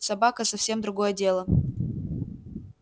собака совсем другое дело